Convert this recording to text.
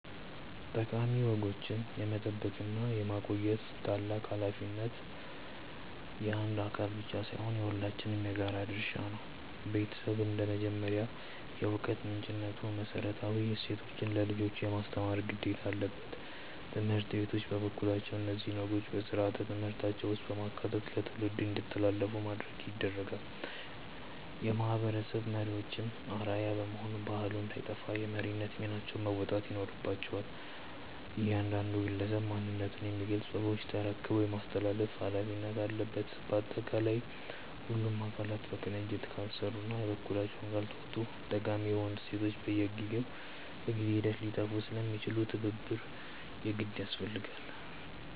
ጠቃሚ ወጎችን የመጠበቅና የማቆየት ታላቅ ኃላፊነት የአንድ አካል ብቻ ሳይሆን የሁላችንም የጋራ ድርሻ ነው። ቤተሰብ እንደ መጀመሪያው የዕውቀት ምንጭነቱ መሰረታዊ እሴቶችን ለልጆች የማስተማር ግዴታ አለበት። ትምህርት ቤቶች በበኩላቸው እነዚህን ወጎች በሥርዓተ ትምህርታቸው ውስጥ በማካተት ለትውልድ እንዲተላለፉ ያደርጋሉ። የማህበረሰብ መሪዎችም አርአያ በመሆን ባህሉ እንዳይጠፋ የመሪነት ሚናቸውን መወጣት ይኖርባቸዋል። እያንዳንዱ ግለሰብም ማንነቱን የሚገልጹ ወጎችን ተረክቦ የማስተላለፍ ኃላፊነት አለበት። ባጠቃላይ ሁሉም አካላት በቅንጅት ካልሰሩና የበኩላቸውን ካልተወጡ ጠቃሚ የሆኑ እሴቶቻችን በጊዜ ሂደት ሊጠፉ ስለሚችሉ ትብብር የግድ ያስፈልጋል።